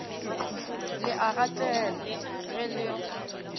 le a ngatela ge le